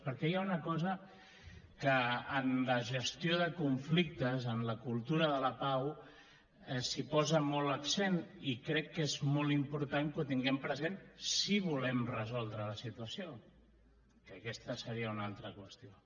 perquè hi ha una cosa que en la gestió de conflictes en la cultura de la pau s’hi posa molt l’accent i crec que és molt important que ho tinguem present si volem resoldre la situació que aquesta seria una altra qüestió